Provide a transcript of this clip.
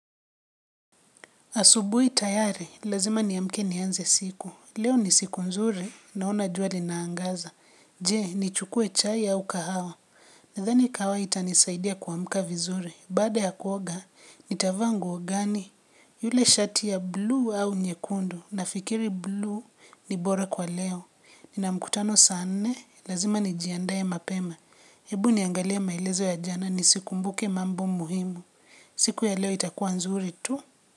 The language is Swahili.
Asubuhi tayari, lazima niamke nianze siku. Leo ni siku nzuri, naona juali naangaza. Je, ni chukue chai au kahawa. Nadhani kahawa itanisaidia kuamka vizuri. Baada ya kuoga, nitavaanguo gani. Yule shati ya blue au nyekundu. Nafikiri blue ni bora kwa leo. Nina mkutano saanne, lazima ni jiandae mapema. Hebu niangalie maelezo ya jana, nisikumbuke mambo muhimu. Siku ya leo itakuwa nzuri tu.